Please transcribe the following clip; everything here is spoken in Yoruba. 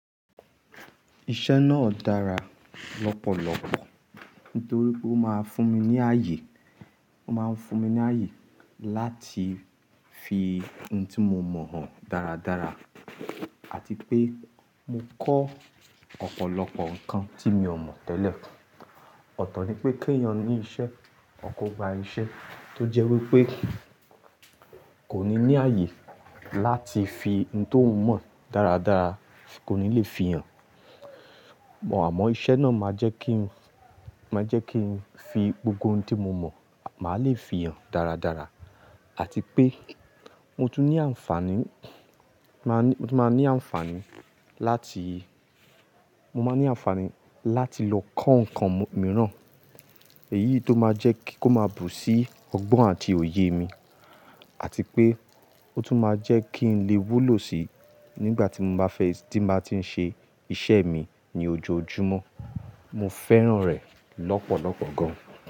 Iṣẹ́ náà dára lọ́pọ̀lọpọ̀ nítorí pé ó máa ń fún mi ní ààyè, ó máa ń fún mi ní ààyè láti fi ohun tí mo mọ̀ hàn dáradára àti pé mo kọ́ ọ̀pọ̀lọpọ̀ nǹkan tí mi o mọ̀ tẹ́lẹ̀. Ọ̀tọ̀ ni pé kí ẹ̀yàn ní iṣẹ́, o ko gba iṣẹ́ tó jẹ́ wípé kòní ní ààyè láti fi ohun ti o mọ̀ dáradára, kò ní lè fi hàn. Àmọ́ iṣẹ́ náà máa jẹ́ kí ń, máa jẹ́ kí ń fi gbogbo ohun tí mo mọ̀, màá lè fi hàn dáradára àti pé mo tún ní àǹfààní, máa ní, mo tún máa ní àǹfààní láti, mo máa ní àǹfààní láti lọ kọ́ nǹkan mìíràn èyí tó máa jẹ́ kí ó máa bù sí ọgbọ́n àti òye mi àti pé ó tún máa jẹ́ kí n lè wúlò sí nígbà tí mo bá fẹ́ tí màá tí ń ṣe iṣẹ́ mi ní ojoojúmọ́. Mo fẹ́ràn rẹ̀ lọ́pọ̀lọpọ̀ gan.